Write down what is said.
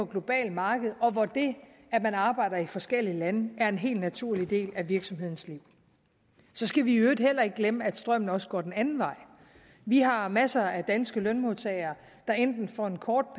globalt marked og hvor det at man arbejder i forskellige lande er en helt naturlig del af virksomhedernes liv så skal vi i øvrigt heller ikke glemme at strømmen også går den anden vej vi har masser af danske lønmodtagere der enten for en kort